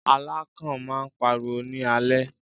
Alákàn máà ń pariwo ní alẹ́.